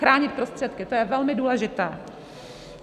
Chránit prostředky - to je velmi důležité.